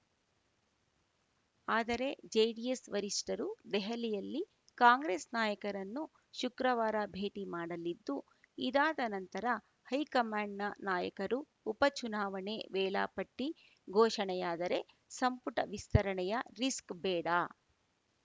ಆದರೆ ಜೆಡಿಎಸ್‌ ವರಿಷ್ಠರು ದೆಹಲಿಯಲ್ಲಿ ಕಾಂಗ್ರೆಸ್‌ ನಾಯಕರನ್ನು ಶುಕ್ರವಾರ ಭೇಟಿ ಮಾಡಲಿದ್ದು ಇದಾದ ನಂತರ ಹೈಕಮಾಂಡ್‌ನ ನಾಯಕರು ಉಪ ಚುನಾವಣೆ ವೇಳಾಪಟ್ಟಿಘೋಷಣೆಯಾದರೆ ಸಂಪುಟ ವಿಸ್ತರಣೆಯ ರಿಸ್ಕ್‌ ಬೇಡ